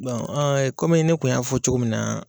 komi ne tun y'a fɔ cogo min na